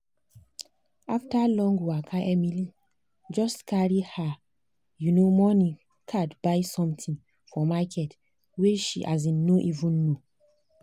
after long waka emily just carry her um money card buy something for market she um no even know.